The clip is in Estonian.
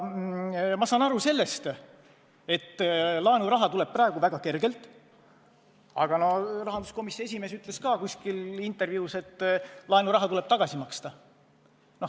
Ma saan aru sellest, et laenuraha tuleb praegu väga kergelt, aga rahanduskomisjoni esimees ütles ka kuskil intervjuus, et laenuraha tuleb tagasi maksta.